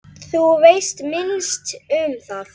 Þú veist minnst um það.